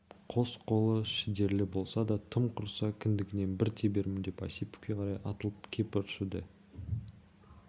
қос қолы шідерлі болса да тым құрыса кіндігінен бір тебермін деп осиповке қарай атылып кеп ыршыды